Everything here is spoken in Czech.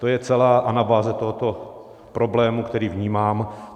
To je celá anabáze tohoto problému, který vnímám.